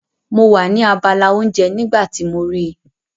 Mo wà ní abala oúnjẹ nígbà tí mo rí i.